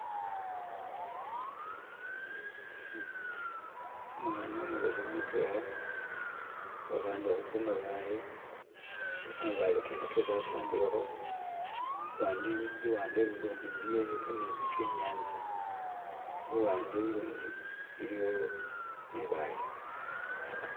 umwana umubesemu mutwela wehale humabaale nga kamabaale kene kese asambileho luwande lundi luliyo kametsi kenyantsa luwande ulundi iliyo libaale